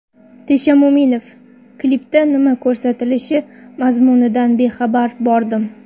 Tesha Mo‘minov: Klipda nima ko‘rsatilishi, mazmunidan bexabar bordim.